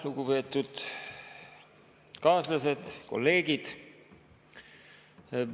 Lugupeetud kaaslased, kolleegid!